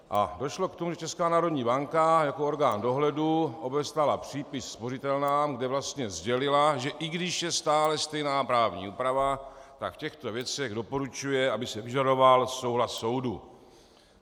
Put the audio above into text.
A došlo k tomu, že Česká národní banka jako orgán dohledu obeslala přípis spořitelnám, kde vlastně sdělila, že i když je stále stejná právní úprava, tak v těchto věcech doporučuje, aby se vyžadoval souhlas soudu.